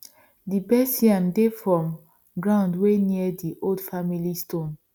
di best yam dey from ground wey near di old family stone